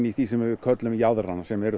því sem við köllum jaðrana sem eru